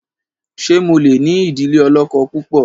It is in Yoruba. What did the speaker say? ṣe mọ lẹ ní idile olókó púpọ?